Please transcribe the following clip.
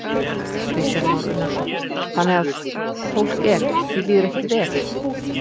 Kristján Már Unnarsson: Þannig að fólk er, því líður ekkert vel?